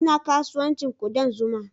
Ina kasuwancin kudan zuma